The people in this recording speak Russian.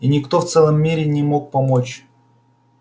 и никто в целом мире не мог помочь